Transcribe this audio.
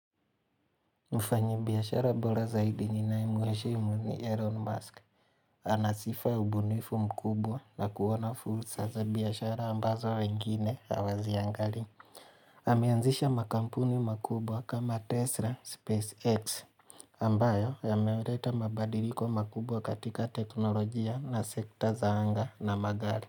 Mfanyi biashara bora zaidi ninayemuheshimu ni Elon Musk. Anasifa ubunifu mkubwa na kuona fursa za biashara ambazo wengine hawaziangalii. Ameanzisha makampuni makubwa kama Tesla, SpaceX, ambayo yameweleta mabadiliko makubwa katika teknolojia na sekta za anga na magari.